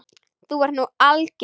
Þú ert nú alger!